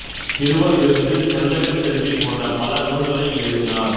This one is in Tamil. சிறுவர் விருந்து செந்தமிழ்ச் செல்வி போன்ற பல நூல்களை எழுதினார்